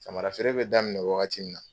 Samara feere bɛ daminɛ wagati min na